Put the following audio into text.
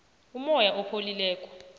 umoya opholileko